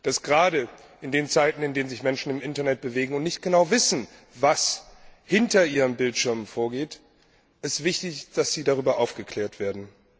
Dass es gerade in Zeiten, in denen sich Menschen im Internet bewegen und nicht genau wissen, was hinter ihren Bildschirmen vorgeht, wichtig ist, dass sie darüber aufgeklärt werden.